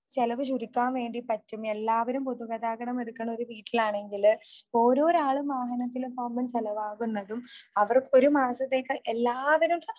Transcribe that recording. ചെലവ് ചുരുക്കാൻ വേണ്ടി പറ്റും.എല്ലാവരും പൊതുഗതാഗതം എടുക്കുന്ന ഒരു വീട്ടിലാണെങ്കിൽ ഓരോ ആളും വാഹനത്തിൽ പോകുമ്പോൾ ചെലവാകുന്നതും അവർ ഒരു മാസത്തേക്ക് എല്ലാവരും